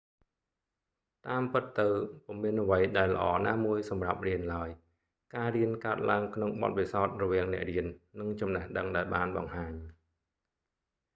តាមពិតទៅ ពុំមានអ្វីដែលល្អណាមួយសម្រាប់រៀនឡើយ ការរៀនកើតឡើងក្នុងបទពិសោធន៍រវាងអ្នករៀននិងចំណេះដឹងដែលបានបង្ហាញ